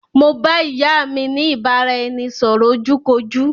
Mo bá ìyá mi ni ìbáraẹnisọ̀rọ̀ ojú kojú